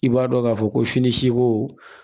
I b'a dɔn k'a fɔ ko fini siko